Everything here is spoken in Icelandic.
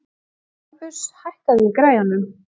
Bambus, hækkaðu í græjunum.